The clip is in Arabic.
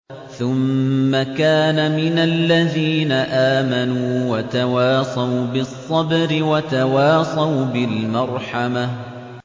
ثُمَّ كَانَ مِنَ الَّذِينَ آمَنُوا وَتَوَاصَوْا بِالصَّبْرِ وَتَوَاصَوْا بِالْمَرْحَمَةِ